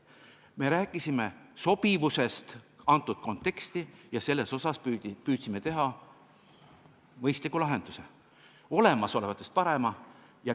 Me rääkisime sobivusest sellesse konteksti ja selles osas püüdsime leida mõistliku lahenduse, olemasolevatest parima.